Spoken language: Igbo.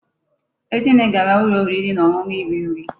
Ezinne gara ulo oriri na onunu iri nri